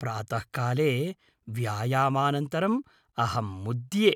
प्रातःकाले व्यायामानन्तरं अहं मुद्ये।